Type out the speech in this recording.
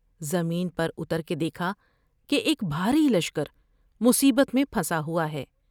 زمین پر اتر کے دیکھا کہ ایک بھاری لشکر مصیبت میں پھنسا ہوا ہے ۔